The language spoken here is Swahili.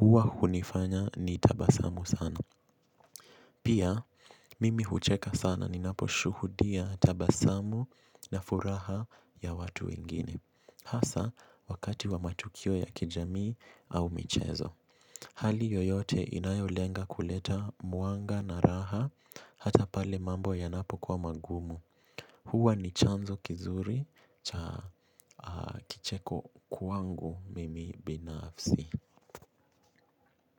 huwa hunifanya nitabasamu sana. Pia, mimi hucheka sana ninaposhuhudia tabasamu na furaha ya watu wengine. Hasa wakati wa matukio ya kijamii au michezo hali yoyote inayolenga kuleta mwanga na raha hata pale mambo yanapokuwa magumu. Huwa ni chanzo kizuri cha kicheko kwangu mimi binafsi.